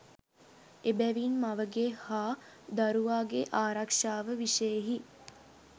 එබැවින් මවගේ හා දරුවාගේ ආරක්‍ෂාව විෂයෙහි